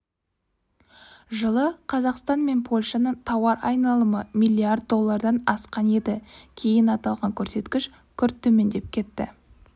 жылы қазақстан мен польшаның тауар айналымы миллиард доллардан асқан еді кейін аталған көрсеткіш күрт төмендеп кетті